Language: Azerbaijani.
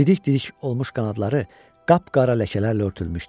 Didik-didik olmuş qanadları qapqara ləkələrlə örtülmüşdü.